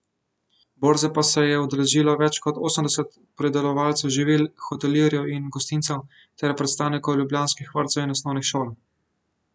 Borze pa se je udeležilo več kot osemdeset pridelovalcev živil, hotelirjev in gostincev ter predstavnikov ljubljanskih vrtcev in osnovnih šol.